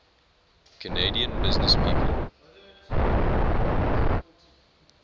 canadian businesspeople